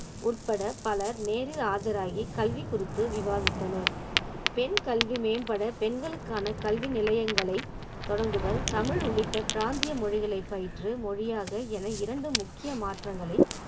உட்பட பலர் நேரில் ஆஜராகி கல்வி குறித்து விவாதித்தனர் பெண் கல்வி மேம்பட பெண்களுக்கான கல்வி நிலையங்களை தொடங்குதல் தமிழ் உள்ளிட்ட பிராந்திய மொழிகளை பயின்று மொழியாக என இரண்டு முக்கிய மாற்றங்களை